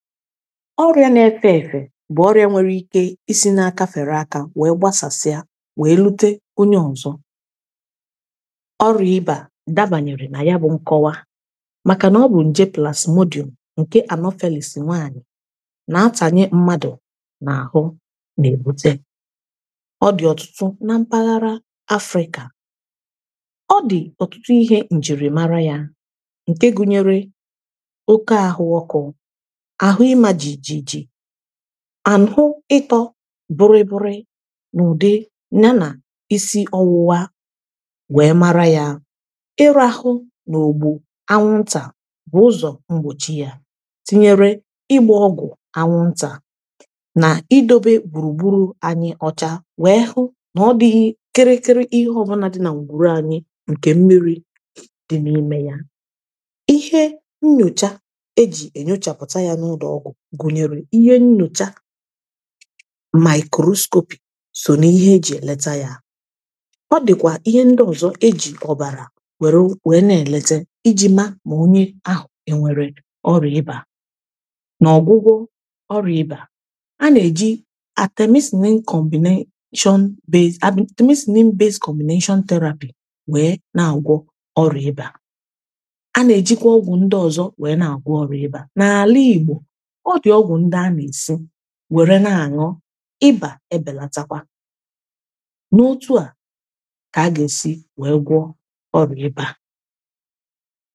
ọrịa na-efe efe bụ ọrịa nwere ike isi n’aka fere aka wee gbasasịa wee rute onye ọzọ ọrụ ịba dabanyere na ya bụ nkọwa maka na ọ bụ nje plasmodum nke anophanalị si nwanyị na-atanyị mmadụ na ahụ na-ebute ọ dị ọtụtụ na mpaghara africa ọ dị ọtụtụ ihe njirimara ya nke gụnyere oke ahụwọkụ anụ ịtọ bụrụ eburu na ụdị na na isi ọwụwa wee mara ya ịrahụ na ogbu anwụnta bu ụzọ mgbochi ya tinyere ịgba ọgụ anwụnta na idobe gburugburu anyi ọcha wee hụ na ọ dịghị kịrịkịrị ihe ọbụnadị na ngwùrù anyị nke mmiri dị n’ime ya ihe nnyocha gụnyere ihe nnụcha maịkọrụ scopi so na ihe e ji eleta ya ọ dịkwa ihe ndị ọzọ e ji ọbara were were na-eleta iji maa ma onye ahụ enwere ọrịa ibe a n’ọgwụgwọ ọrịa ibe a a na-eji atemesinii nkombin depen.. tọbịzinii nkombin depen.. na-agwọ ọrịa ibe a a na-ejikwa ọgwụ ndị ọzọ were na-agwọ ọrịa ibe a na-alịgbo were na aṅụ ịbȧ ebelatakwa na otu a ka aga esi wee gwọ ọrụ ịbȧ